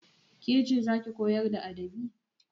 Ke ce za ki koyar da adabi?